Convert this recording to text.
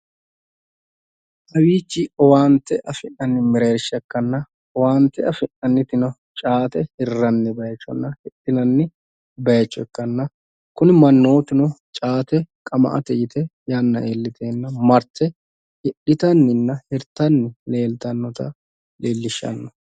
Kowiichi owaante afi'nanni mereershsha ikkanna owaante afi'nannitino caate hirranni bayiichonna hidhinanni bayiicho ikanna kuni mannootuno caate qama"ate yite yanna iilliteenna marte hidhitanninna hirtanni leeltannota leellishshanno.